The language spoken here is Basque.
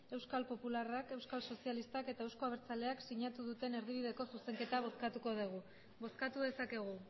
euskal popularrak euskal sozialistak eta euzko abertzaleak sinatu duten erdibideko zuzenketa bozkatuko dugu bozkatu dezakegu